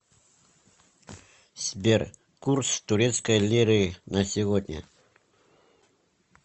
сбер курс турецкой лиры на сегодня